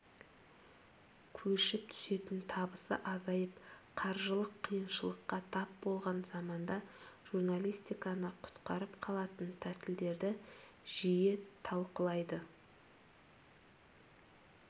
көшіп түсетін табысы азайып қаржылық қиыншылыққа тап болған заманда журналистиканы құтқарып қалатын тәсілдерді жиі талқылайды